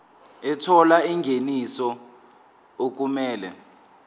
ethola ingeniso okumele